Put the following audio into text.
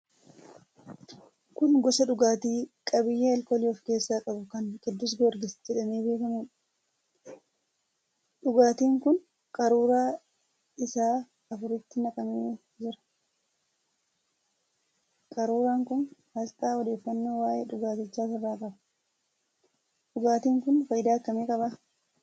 Kun gosa dhugaatii qabiyyee alkoolii of keessaa qabu kan 'Qidduus Giyoorgis' jedhamee beekamuudha. Dhugaatiin kun qaruuraa isaa afuritti naqamee jira. Qaruuraan kun aasxaafi odeeffannoo waa'ee dhugaatichaa ofirraa qaba. Dhugaatiin kun faayidaa akkamii qaba?